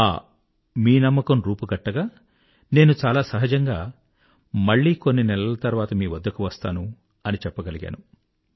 ఆ మీ నమ్మకం రూపు గట్టగా నేను చాలా సహజంగా మళ్ళీ కొన్ని నెలల తర్వాత మీ వద్దకు వస్తాను అని చెప్పగలిగాను